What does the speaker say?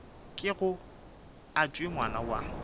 kego a tšwe ngwana wa